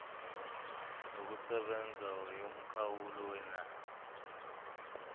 yokusebenza yomkhawulo wenani